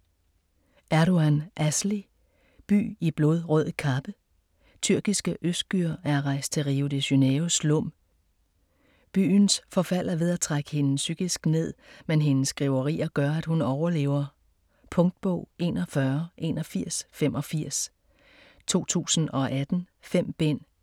Erdogˇan, Asli: By i blodrød kappe Tyrkiske Özgür er rejst til Rio de Janeiros slum. Byens forfald er ved at trække hende psykisk ned, men hendes skriverier gør at hun overlever. Punktbog 418185 2018. 5 bind.